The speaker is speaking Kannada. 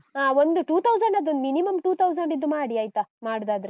ಹಾ ಒಂದು two thousand, minimum two thousand ಇದ್ದು ಮಾಡಿ ಆಯ್ತಾ ಮಾಡುದಾದ್ರೆ.